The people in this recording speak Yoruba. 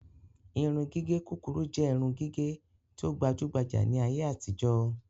Irun gígé kúkúrú jẹ irun gígé tí o gbajugbaja ni ayé àtijó